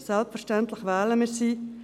selbstverständlich wählen wir sie.